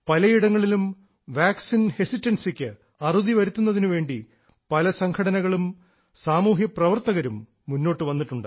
പലയിടങ്ങളിലും വാക്സിൻ ഹെസിറ്റൻസിക്ക് അറുതി വരുത്തുന്നതിനു വേണ്ടി പല സംഘടനകളും സാമൂഹ്യ പ്രവർത്തകരും മുന്നോട്ടു വന്നിട്ടുണ്ട്